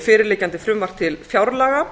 fyrirliggjandi frumvarp til fjárlaga